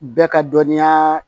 Bɛɛ ka dɔnniya